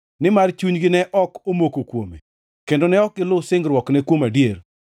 Nimar chunygi ne ok omoko kuome, kendo ne ok gilu singruokne kuom adier.